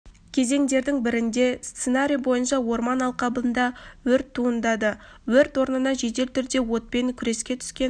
кезеңдердің бірінде сценарий бойынша орман алқабында өрт туындады өрт орнына жедел түрде отпен күреске түскен